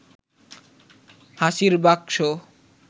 হাসির বাকসো